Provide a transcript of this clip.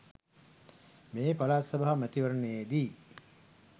මේ පළාත් සභා මැතිවරණයේදී